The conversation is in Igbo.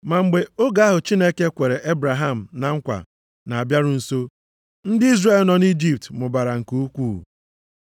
“Ma mgbe oge ahụ Chineke kwere Ebraham na nkwa na-abịaru nso, ndị Izrel nọ nʼIjipt mụbara nke ukwuu,